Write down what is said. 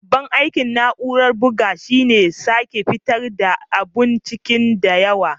Babban aikin na'urar bugu shine sake fitar da abun ciki da yawa.